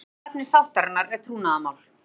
Annað efni sáttarinnar er trúnaðarmál